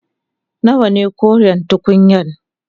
Nawaye koren tukunyan?